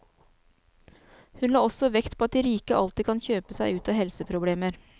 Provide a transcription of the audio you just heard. Hun la også vekt på at de rike alltid kan kjøpe seg ut av helseproblemer.